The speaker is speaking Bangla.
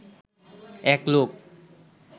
এক লোক